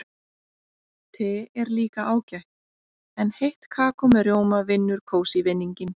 Te er líka ágætt en heitt kakó með rjóma vinnur kósí-vinninginn.